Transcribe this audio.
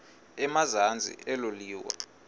emazantsi elo liwa